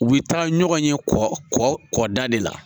U bɛ taa ɲɔgɔn ye kɔ kɔ da de la